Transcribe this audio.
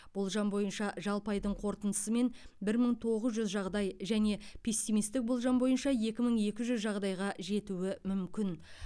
болжам бойынша жалпы айдың қорытындысымен бір мың тоғыз жүз жағдай және пессимистік болжам бойынша екі мың екі жүз жағдайға жетуі мүмкін